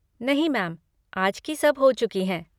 नहीं मैम, आज की सब हो चुकी हैं।